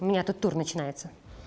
у меня тут тур начинается